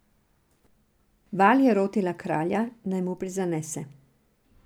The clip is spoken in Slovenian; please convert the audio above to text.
Val je rotila kralja, naj mu prizanese.